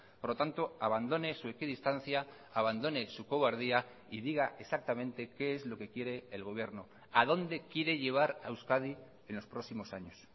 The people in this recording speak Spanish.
por lo tanto abandone su equidistancia abandone su cobardía y diga exactamente qué es lo que quiere el gobierno a dónde quiere llevar a euskadi en los próximos años